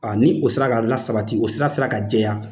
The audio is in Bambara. A ni o sera ka la sabati, o sira sera ka jɛya,